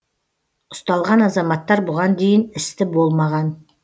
ұсталған азаматтар бұған дейін істі болмаған